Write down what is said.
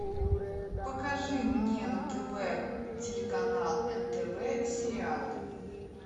покажи мне на тв телеканал нтв сериал